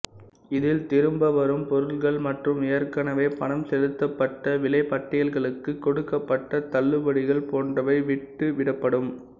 இதில் திரும்ப வரும் பொருட்கள் மற்றும் ஏற்கனவே பணம் செலுத்தப்பட்ட விலைப்பட்டியல்களுக்குக் கொடுக்கப்பட்ட தள்ளுபடிகள் போன்றவை விட்டு விடப்படும்